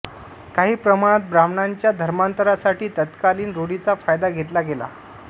काही प्रमाणात ब्राह्मणांच्या धर्मांतरासाठी तत्कालीन रूढींचा फायदा घेतला गेला